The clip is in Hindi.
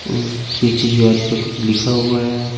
और पीछे दिवार पर कुछ लिखा हुआ है।